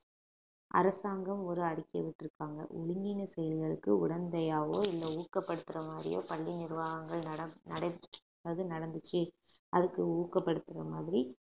அரசாங்கம் ஒரு அறிக்கை விட்டிருக்காங்க ஒழுங்கீன செயல்களுக்கு உடந்தையாவோ இல்லை ஊக்கப்படுத்துற மாதிரியோ பள்ளி நிர்வாகங்கள் நட~ நடப்~ நடந்துச்சு அதுக்கு ஊக்கப்படுத்துற மாதிரி